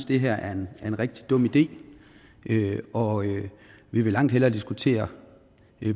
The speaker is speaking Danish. det her er en rigtig dum idé og vi vil langt hellere diskutere